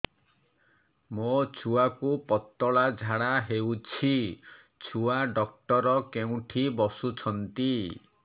ମୋ ଛୁଆକୁ ପତଳା ଝାଡ଼ା ହେଉଛି ଛୁଆ ଡକ୍ଟର କେଉଁଠି ବସୁଛନ୍ତି